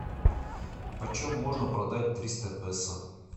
почем можно продать триста песо